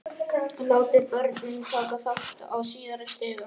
Látið börnin taka þátt á síðari stigum.